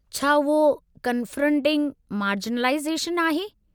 छा उहो 'confronting marginalisation' आहे?